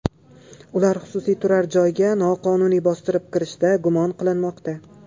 Ular xususiy turar-joyga noqonuniy bostirib kirishda gumon qilinmoqda.